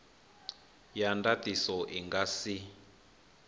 ya ndatiso i nga si